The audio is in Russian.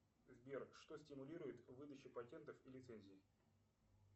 сбер что стимулирует выдачу патентов и лицензий